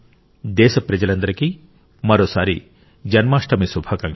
దేశ ప్రజలందరికీ మరోసారి జన్మాష్టమి శుభాకాంక్షలు